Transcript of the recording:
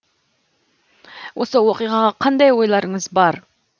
осы оқиғаға қандай ойларыңыз бар